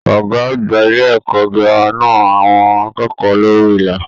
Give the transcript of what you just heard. Ọgá àgbà ilé ẹ̀kọ́ gírámà na àwọn akẹ́kọ̀ọ́ lórí ìlà.